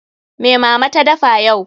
Me Mama ta dafa yau?